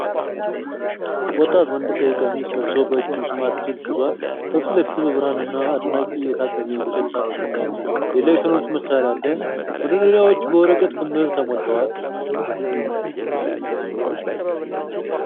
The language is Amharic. ወጣት ወንድ ቀይ ቀሚስ ለብሶ በእጁ ስማርት ስልክ ይዟል። ከፊት ለፊቱ በብርሃንና አድናቂ የታገዘ የእንጨት ሳጥን መሳይ የኤሌክትሮኒክስ መሣሪያ አለ። መደርደሪያዎች በወረቀት ክምር ተሞልተዋል።